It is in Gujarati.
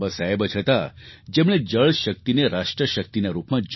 બાબાસાહેબ જ હતા જેમણે જળ શક્તિને રાષ્ટ્ર શક્તિના રૂપમાં જોઈ